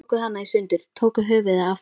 Þeir tóku hana í sundur. tóku höfuðið af þess